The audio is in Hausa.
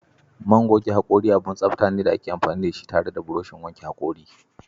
Man goge haƙori abun tsafta ne da ake amfani da shi tare da burushin wanke hakori.